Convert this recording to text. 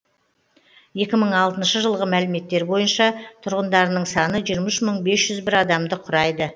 екі мың алтыншы жылғы мәліметтер бойынша тұрғындарының саны жиырма үш мың бес жүз бір адамды құрайды